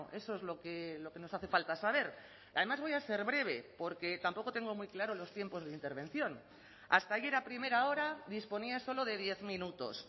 eso es lo que nos hace falta saber además voy a ser breve porque tampoco tengo muy claro los tiempos de intervención hasta ayer a primera hora disponía solo de diez minutos